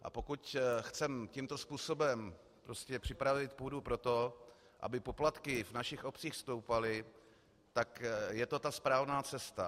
A pokud chceme tímto způsobem připravit půdu pro to, aby poplatky v našich obcích stoupaly, tak je to ta správná cesta.